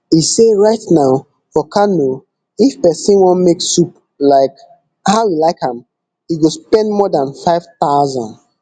e say right now for kano if pesin wan make soup like how e like am e go spend more dan five thousand